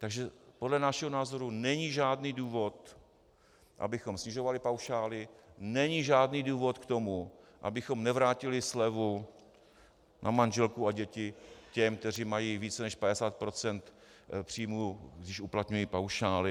Takže podle našeho názoru není žádný důvod, abychom snižovali paušály, není žádný důvod k tomu, abychom nevrátili slevu na manželku a děti těm, kteří mají více než 50 % příjmů, když uplatňují paušály.